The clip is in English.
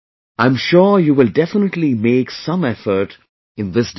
I am sure you will definitely make some effort in this direction